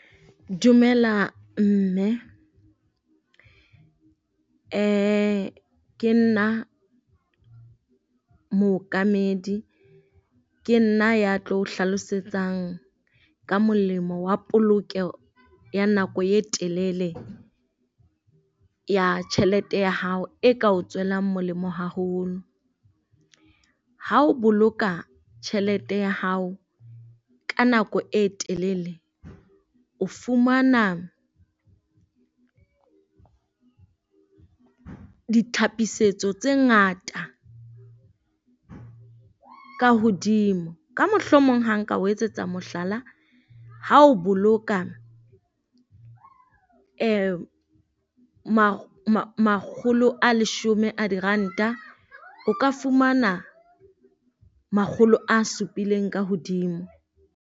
Dumela mme, ke nna mookamedi. Ke nna ya tlo o hlalosetsang ka molemo wa polokeho ya nako e telele ya tjhelete ya hao e ka o tswelang molemo haholo. Ha o boloka tjhelete ya hao ka nako e telele, o fumana ditlhapisetso tse ngata ka hodimo. Ka mohlomong ha nka o etsetsa mohlala, ha o boloka makgolo a leshome a diranta, o ka fumana makgolo a supileng ka hodimo.